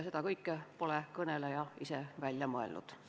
Seda kõike pole kõneleja ise välja mõelnud.